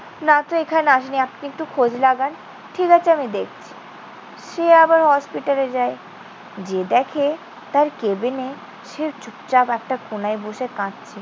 না তো এখানে আসেনি। আপনি একটু খোঁজ লাগান। ঠিক আছে, আমি দেখছি। সে আবার হসপিটালে যায়। যেয়ে দেখে তার কেবিনে সে চুপচাপ একটা কোনায় বসে কাঁদছে।